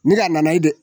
Ni a nana ye dɛ